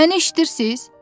məni eşidirsiz?